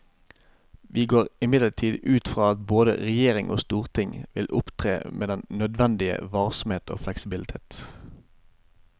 Vi går imidlertid ut fra at både regjering og storting vil opptre med den nødvendige varsomhet og fleksibilitet.